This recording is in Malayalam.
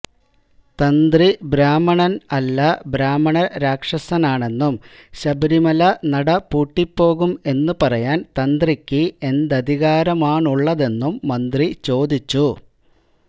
തന്ത്രി ബ്രാഹ്മണന് അല്ല ബ്രാഹ്മണ രാക്ഷസനാണെന്നും ശബരിമല നട പൂട്ടിപോകും എന്ന് പറയാന് തന്ത്രിക്ക് എന്തധികാരമാണുള്ളതെന്നും മന്ത്രി ചോദിച്ചു